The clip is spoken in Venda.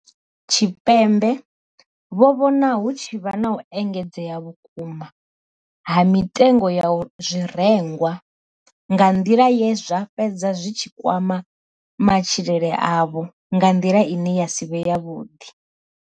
Tshipembe vho vhona hu tshi vha na u engedzea vhukuma ha mitengo ya zwirengwa nga nḓila ye zwa fhedza zwi tshi kwama matshilele avho nga nḓila ine ya si vhe yavhuḓi.